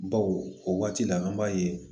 Bawo o waati la an b'a ye